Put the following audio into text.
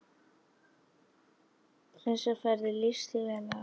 Þessar ferðir lýstu þér vel.